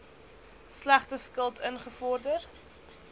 slegte skuld ingevorder